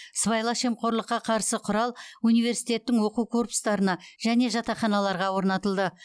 сыбайлас жемқорлыққа қарсы құрал университеттің оқу корпустарына және жатақханаларға орнатылды